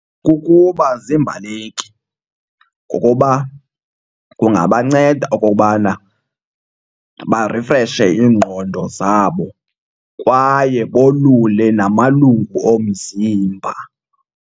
Kukuba ziimbaleki ngokoba kungabanceda okokubana barifreshe iingqondo zabo kwaye bolule namalungu omzimba.